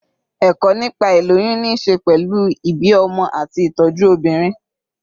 Ẹ̀kọ́ nípa ìlóyún ní ṣe pẹ̀lú ìbí ọmọ àti ìtọ́jú obìnrin.